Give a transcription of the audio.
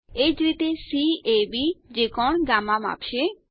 એ જ રીતે કેબ જે કોણ ગામા માપશે